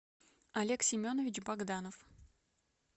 олег семенович богданов